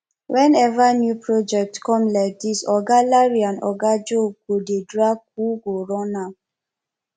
whenever new project come like dis oga larry and oga joe go dey drag who go run am